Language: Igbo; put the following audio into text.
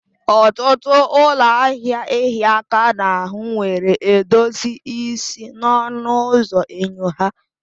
Ọtụtụ ụlọ ahịa ịhịa aka n'ahụ nwere edozi isi n'ọnụ ụzọ enyo ha.